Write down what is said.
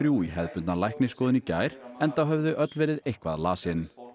þrjú í hefðbundna læknisskoðun í gær enda höfðu þau öll verið eitthvað lasin